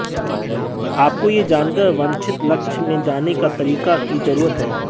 आपको यह जानकर वांछित लक्ष्य में जाने का तरीका की जरूरत है